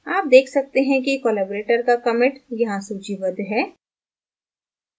आप देख सकते हैं कि collaborator का commit यहाँ सूचीबद्ध है